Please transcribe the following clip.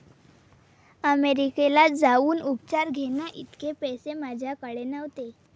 अमेरिकेला जाऊन उपचार घेण्याइतके पैसे माझ्याकडे नव्हते.